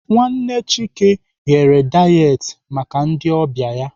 Nwanne Chike ghere dayet maka ndị ọbịa ya.